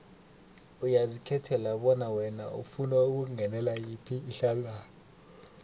uyazikhethela bona wena ufuna ukungenela yiphi ihlangano